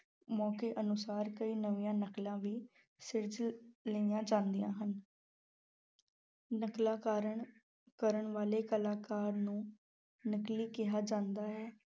ਮੌਕੇ ਅਨੁਸਾਰ ਕਈ ਨਵੀਂਆਂ ਨਕਲਾਂ ਵੀ ਸਿਰਜ ਲਈਆਂ ਜਾਂਦੀਆਂ ਹਨ ਨਕਲਾਂ ਕਾਰਨ ਕਰਨ ਵਾਲੇ ਕਲਾਕਾਰ ਨੂੰ ਨਕਲੀ ਕਿਹਾ ਜਾਂਦਾ ਹੈ।